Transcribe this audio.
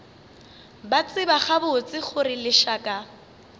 ba tseba gabotse gore lešaka